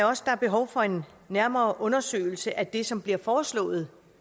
også der er behov for en nærmere undersøgelse af det som bliver foreslået